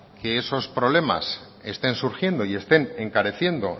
que esos problemas estén surgiendo y estén encareciendo